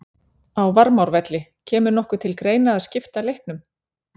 Á Varmárvelli Kemur nokkuð til greina að skipta leiknum?